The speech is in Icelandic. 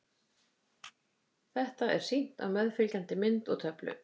Þetta er sýnt á meðfylgjandi mynd og töflu.